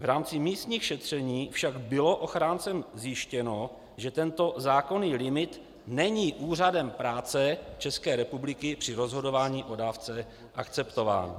V rámci místních šetření však bylo ochráncem zjištěno, že tento zákonný limit není Úřadem práce České republiky při rozhodování o dávce akceptován.